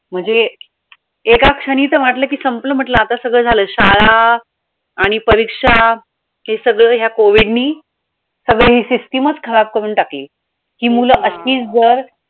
म्हणजे एकाच क्षणी तर वाटलं कि संपल म्हंटलं आता सगळं झालं शाळा आणि परीक्षा हे सगळं या COVID नी सगळं ही system चं खराब करून टाकली हि मूलं अशीचं जर